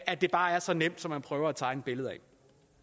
at det bare er så nemt som man prøver at tegne et billede